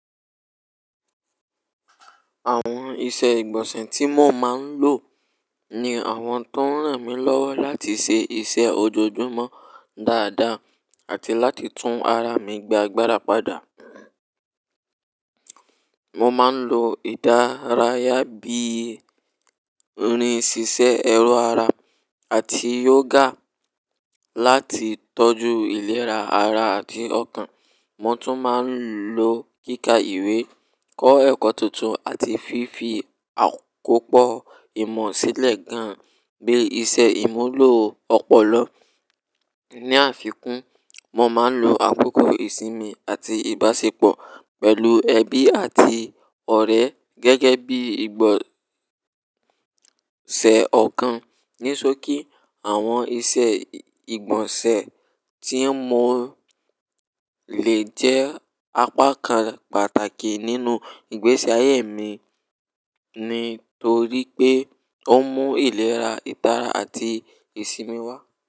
Àwọn ìṣe ìgbọ̀nsẹ̀ tí mo máa ń lò ní àwọn tó ń ràn mí lọ́wọ́ láti ṣe iṣẹ́ ojoojúmọ́ dáadáa àti láti tún ara mi gba gbárapadà. Mo máa ń lo ìdárayá bí i irin ṣíṣe ẹrọ ara àti yoga láti tọ́jú ìlera ara àti ọkàn. Mo tún máa ń lo kíkà ìwé, kọ́ ẹ̀kọ́ tuntun àti fífi àkópọ̀ ìmọ̀ sílẹ̀ gan-an bíi ìṣe ìmúlò ọpọlọ. Ni àfikún, mo máa ń lo àkókò ìsinmi àti ìbáṣepọ̀ pẹ̀lú ẹbí àti ọ̀rẹ́ gẹ́gẹ́ bí ìgbọ̀nsẹ̀ ọkàn. Nisóki, àwọn ìṣe ìgbọ̀nsẹ̀ tí mo lè jẹ́ apá kan pàtàkì nínú ìgbésí ayé mi, nítorí pé ó mú ìlera, ìtara àti ìsinmi wá.